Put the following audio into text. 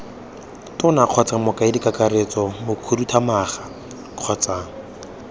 tona kgotsa mokaedikakaretso mokhuduthamaga kgotsa